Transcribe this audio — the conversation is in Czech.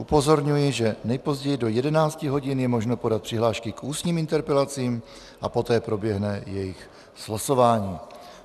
Upozorňuji, že nejpozději do 11 hodin je možno podat přihlášky k ústním interpelacím a poté proběhne jejich slosování.